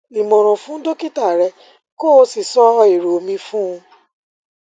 ìmòràn fún dókítà rẹ kó o sì sọ èrò mi fún un